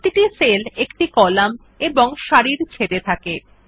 প্রতিটি সেল একটি কলাম এবং সারি ছেদ এ থাকে